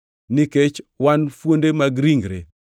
nikech wan fuonde mag ringre.